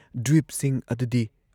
ꯗ꯭ꯋꯤꯞꯁꯤꯡ ꯑꯗꯨꯗꯤ‑